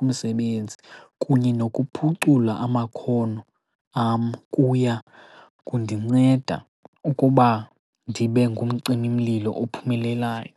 kumsebenzi, kunye nokuphucula amakhono am kuya kundinceda ukuba ndibe ngumcimimlilo ophumelelayo.